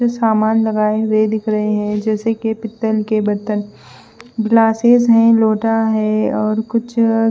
सामान लगाए हुए दिख रहे है जैसे के पित्तल के बर्तन ग्लासेस है लोटा है और कुछ--